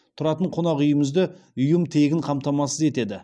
тұратын қонақүйімізді ұйым тегін қамтамасыз етеді